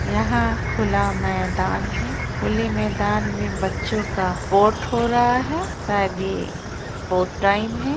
यहाँ खुला मैदान है खुले मैदान मे बच्चों का पोर्ट हो रहा है शायद ये स्पोर्ट टाइम है ।